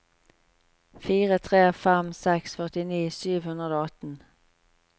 fire tre fem seks førtini sju hundre og atten